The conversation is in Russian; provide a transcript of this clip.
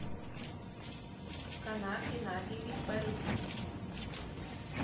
канат геннадьевич борисов